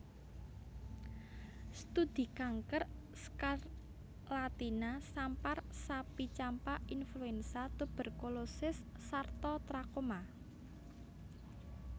Studi kanker skarlatina sampar sapi campak influenza tuberkulosis sarta trakoma